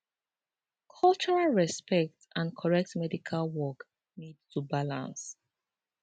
cultural respect and correct medical work need to balance